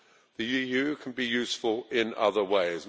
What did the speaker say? The EU can be useful in other ways.